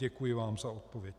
Děkuji vám za odpověď.